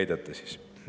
ei.